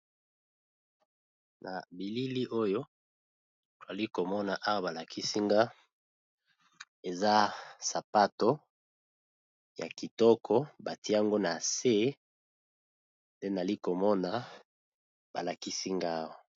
Na bilili oyo nazali komona balakisi nga eza sapato ya kitoko batye yango na se nde nazali komona..